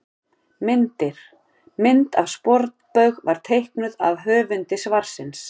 Myndir: Mynd af sporbaug var teiknuð af höfundi svarsins.